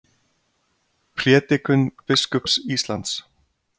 Prédikun biskups Íslands